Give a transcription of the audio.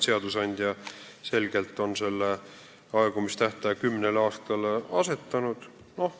Seadusandja on selgelt selle aegumistähtaja kümne aasta peale seadnud.